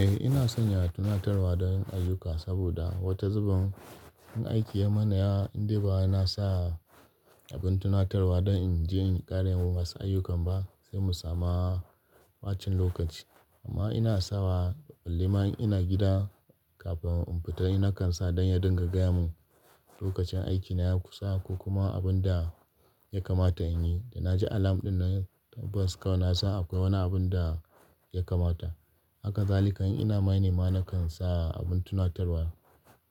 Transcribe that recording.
Eh ina sanya tunatarwa don yin ayyuka saboda wata zuben in aiki ya mana yawa, indai ba na sa abin tunatarwa don in je in ƙara yin wasu ayyukan ba sai mu samu ɓacin lokaci. Amma ina sawa balli ma in ina gida kafin in fita in kan sa don ya dinga gaya mun lokacin aikina ya kusa ko kuma abun da ya kamata in yi. Da na ji alam din nan tabbas kawai na sn akwai wani abun da ya kamata. Haka zalika in ina mining ma na kan sa abin tunatarwa